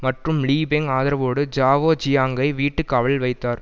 மற்றும் Li Peng ஆதரவோடு Zhao ஜியாங்கை வீட்டு காவலில் வைத்தார்